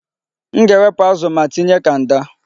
M ga-ewepụ azụ ma tinye kanda.